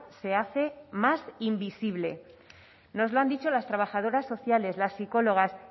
se hace más invisible nos lo han dicho las trabajadoras sociales las psicólogas